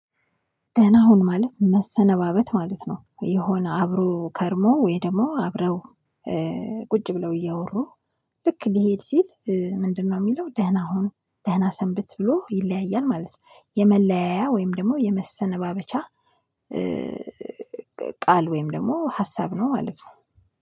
ደህና ሁን ማለት መሰነባበት ማለት ነው የሆነ አብሮ ከርሞ ወይ ደግሞ አብረው ቁጭ ብለው እያወሩ ልክ ሊሄድ ሲል ምንድነው የሚለው ደህና ሁን፣ ደህና ሰንብት ብሎ ይለያያል ማለት ነው። የመለያያ ወይም ደግሞ የመሰነባበቻ ቃል ወይም ደግሞ ሀሳብ ነው ማለት ነው።